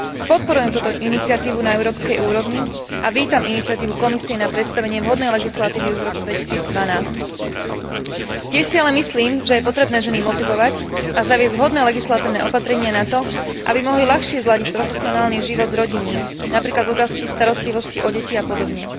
Podporujem túto iniciatívu na európskej úrovni a vítam iniciatívu Komisie na predstavenie vhodnej legislatívy už v roku 2012. Tiež si ale myslím, že je potrebné ženy motivovať a zaviesť vhodné legislatívne opatrenia na to, aby mohli ľahšie zladiť profesionálny život s rodinným, napríklad v oblasti starostlivosti o deti a podobne.